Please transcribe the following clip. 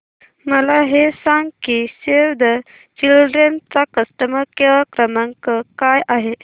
मला हे सांग की सेव्ह द चिल्ड्रेन चा कस्टमर केअर क्रमांक काय आहे